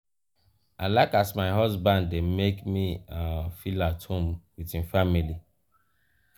i like as my husband dey make me um feel at home wit im family.